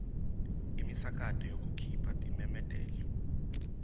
imisakato yekukhipha timemetelo